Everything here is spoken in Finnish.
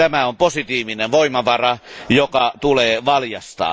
Tämä on positiivinen voimavara, joka tulee valjastaa.